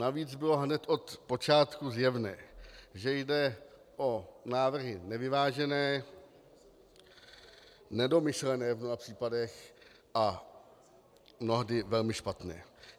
Navíc bylo hned od počátku zjevné, že jde o návrhy nevyvážené, nedomyšlené v mnoha případech a mnohdy velmi špatné.